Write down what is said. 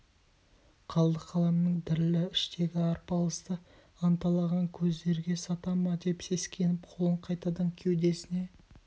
қалды қаламның дірілі іштегі арпалысты анталаған көздерге сата ма деп сескеніп қолын қайтадан кеудесіне